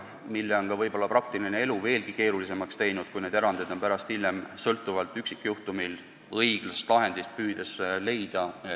Ja selle on võib-olla praktiline elu veelgi keerulisemaks teinud, kui neid erandeid on juurde tekkinud, kuna on püütud üksikjuhtumile õiglast lahendit leida.